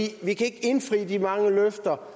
kan ikke indfri de mange løfter